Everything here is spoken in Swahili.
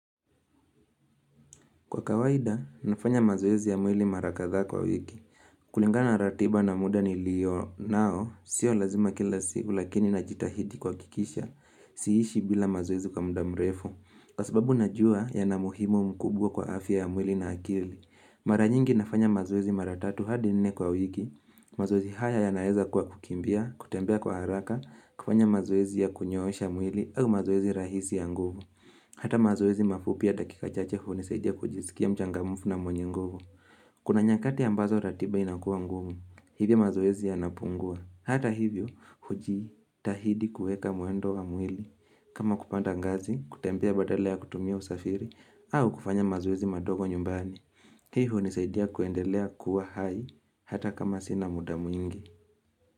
Kwa kawaida, nafanya mazoezi ya mwili mara kadhaa kwa wiki. Kulingana ratiba na muda niliyonao, sio lazima kila siku lakini najitahidi kuhakikisha, si ishi bila mazoezi kwa muda mrefu. Kwa sababu najua yana muhimu mkubwa kwa afya ya mwili na akili. Mara nyingi nafanya mazoezi maratatu hadi nne kwa wiki, mazoezi haya yanaeza kuwa kukimbia, kutembea kwa haraka, kufanya mazoezi ya kunyoosha mwili au mazoezi rahisi ya nguvu. Hata mazoezi mafupi ya dakika chache hunisaidia kujisikia mchangamufu na mwenye nguvu. Kuna nyakati ambazo ratiba inakuwa ngumu, hivyo mazoezi yanapungua. Hata hivyo, hujitahidi kueka mwendo wa mwili. Kama kupanda ngazi, kutembea badala ya kutumia usafiri, au kufanya mazoezi madogo nyumbani. Hii hunisaidia kuendelea kuwa hai, hata kama sina muda mwingi.